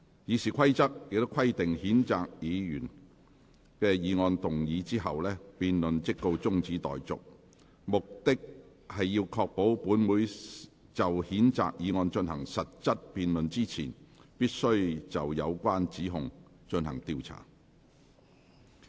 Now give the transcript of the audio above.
《議事規則》規定譴責議案動議後，辯論即告中止待續，目的是要確保本會就譴責議案進行實質辯論之前，必須先就有關指控進行調查。